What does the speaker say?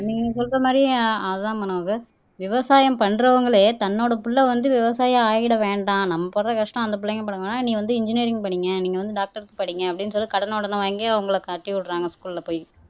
நீங்க சொல்ற மாதிரி அதான் மனோகர் விவசாயம் பண்றவங்களே தன்னோட பிள்ளை வந்து விவசாயி ஆகிட வேண்டாம் நம்ம படுற கஷ்டம் அந்த பிள்ளைங்க பட வேணாம் நீ வந்து இன்ஜினியரிங் படிங்க நீங்க வந்து டாக்டர் அப்படின்னு சொல்லி கடன உடன வாங்கி அவங்களை காட்டி விடுறாங்க ஸ்கூல்ல போய்